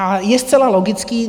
A je zcela logické...